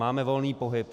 Máme volný pohyb.